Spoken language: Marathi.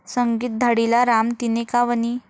संगीत धाडीला राम तिने का वनी?